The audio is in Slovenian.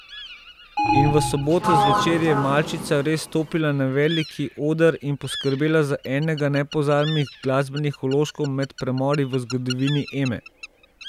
In v soboto zvečer je malčica res stopila na veliki oder in poskrbela za enega nepozabnih glasbenih vložkov med premori v zgodovini Eme.